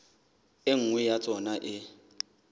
e nngwe ya tsona e